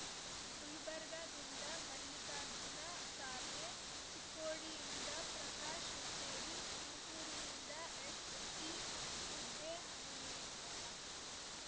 ಗುಲ್ಬರ್ಗಾದಿಂದ ಮಲ್ಲಿಕಾರ್ಜುನ ಖಾರ್ಗೆ ಚಿಕ್ಕೋಡಿಯಿಂದ ಪ್ರಕಾಶ್ ಹುಕ್ಕೇರಿ ತುಮ್ಕೂರಿನಿಂದ ಎಸ್ಟಿ ಮುದ್ದಹನುಮೇಗೌಡ